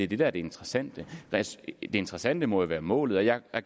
det der er det interessante det interessante må jo være målet jeg er